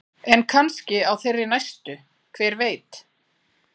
En kannski á þeirri næstu, hver veit?